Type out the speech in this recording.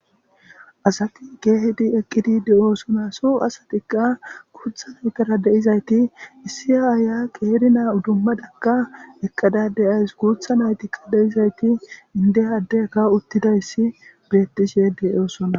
asati keehidi eqqidi de7oosona so asatikka kuutha n eqqada deizayti issi aaaya qeeri naa udummadakka eqqada deyays kuutha naytikka deizayti indehaddeka uttidayssi birettishe deyoosona